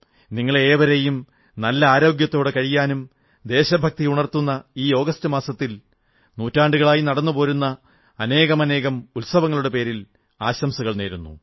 നിങ്ങളെ ഏവരെയും നല്ല ആരോഗ്യത്തോടെ കഴിയാനും ദേശഭക്തിയുണർത്തുന്ന ഈ ആഗസ്റ്റ് മാസത്തിൽ നൂറ്റാണ്ടുകളായി നടന്നുപോരുന്ന അനേകാനേകം ഉത്സവങ്ങളുടെ പേരിൽ ആശംസകൾ നേരുന്നു